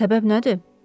Səbəb nədir?